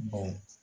Baw